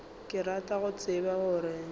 ke rata go tseba gore